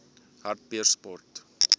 hartbeespoort